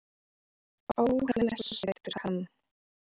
Ó, hann er svo sætur hann